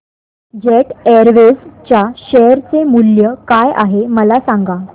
jet Airways च्या share चे मूल्य काय आहे मला सांगा